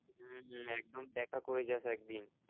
হম হম একদম দেখা করে যাস একদিন